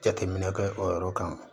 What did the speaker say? Jateminɛ kɛ o yɔrɔ kan